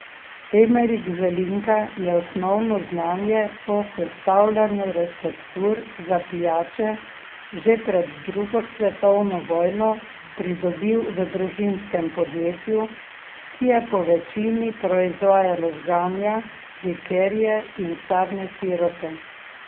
Emerik Zelinka je osnovno znanje o sestavljanju receptur za pijače že pred drugo svetovno vojno pridobil v družinskem podjetju, ki je po večini proizvajalo žganja, likerje in sadne sirupe.